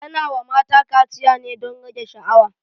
Ana wa mata kaciya ne don rage sha'awa